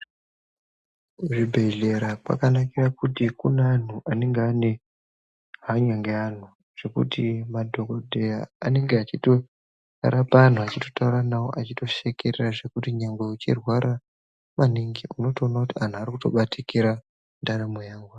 Kuzvibhehleya kwakanakira kuti kune anhu anenge anehanya ngeanhu zvekuti madhokodheya anenge achitorapa anhu achitotauranawo achitoshekerera zvekuti nyangwe uchirwara maningi unotoona kuti anhu aya arikutobatikira ndaramo yangu.